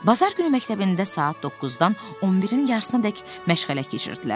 Bazar günü məktəbində saat 9-dan 11-in yarısınadək məşğələ keçirdilər.